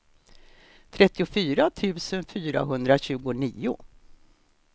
trettiofyra tusen fyrahundratjugonio